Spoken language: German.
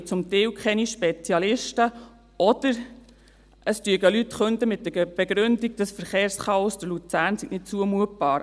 Er finde zum Teil keinen Spezialisten, oder Leute würden mit der Begründung künden, das Verkehrschaos durch Luzern sei nicht zumutbar.